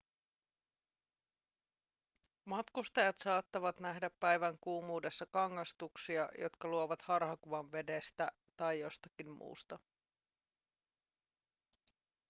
matkustajat saattavat nähdä päivän kuumuudessa kangastuksia jotka luovat harhakuvan vedestä tai jostakin muusta